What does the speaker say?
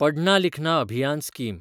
पढना लिखना अभियान स्कीम